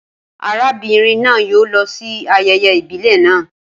Arábìnrin náà yóò lọ sí ayẹyẹ ìbílẹ̀ naa